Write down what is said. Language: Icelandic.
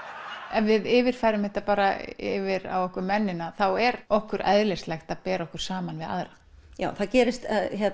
ef við yfirfærum þetta bara yfir á okkur mennina þá er okkur eðlislægt að bera okkur saman við aðra það gerist